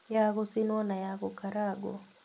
Ya gũcinwo na ya gũkarangũo